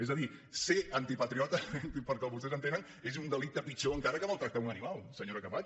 és a dir ser antipatriota pel que vostès entenen és un delicte pitjor encara que maltractar un animal senyora camats